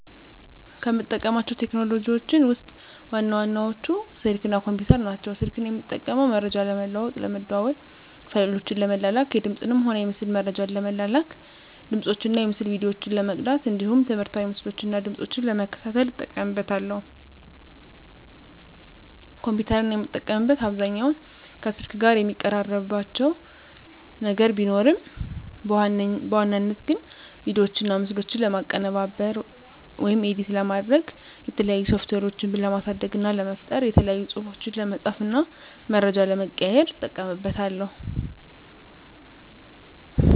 ከምጠቀማቸው ቴክኖሎጂዎችን ውስጥ ዋና ዋናዎቹ ስልክ እና ኮምፒተር ናቸው። ስልክን የምጠቀመው መረጃ ለመለዋዎጥ ለመደዋዎል፣ ፋይሎችን ለመላላክ፣ የድምፅንም ሆነ የምስል መረጃዎችን ለመላላክ፣ ድምፆችን እና የምስል ቪዲዮዎችን ለመቅዳት እንዲሁም ትምህርታዊ ምስሎችን እና ድምጾችን ለመከታተል እጠቀምበታለሁ። ኮምፒተርን የምጠቀምበት አብዛኛውን ከስልክ ጋር የሚቀራርባቸው ነገር ቢኖርም በዋናነት ግን ቪዲዮዎችና ምስሎችን ለማቀነባበር (ኤዲት) ለማድረግ፣ የተለያዩ ሶፍትዌሮችን ለማሳደግ እና ለመፍጠር፣ የተለያዩ ፅሁፎችን ለመፃፍ እና መረጃ ለመቀያየር ... እጠቀምበታለሁ።